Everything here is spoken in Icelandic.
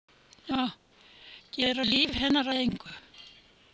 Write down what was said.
Gera líf hennar að engu.